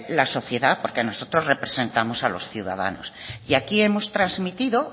la sociedad porque nosotros representamos a los ciudadanos y aquí hemos trasmitido